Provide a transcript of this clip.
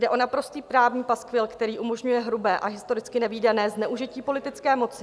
Jde o naprostý právní paskvil, který umožňuje hrubé a historicky nevídané zneužití politické moci.